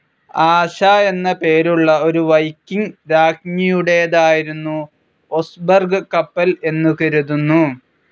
ആശ എന്ന പേരുള്ള ഒരു വൈക്കിംഗ്‌ രാജ്ഞിയുടേതായിരുന്നു ഒസ്ബെർഗ് കപ്പൽ എന്ന് കരുതുന്നു.